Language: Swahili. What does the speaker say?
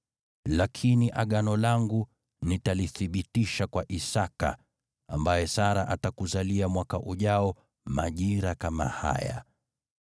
Lakini Agano langu nitalithibitisha kwa Isaki, ambaye Sara atakuzalia mwaka ujao majira kama haya.”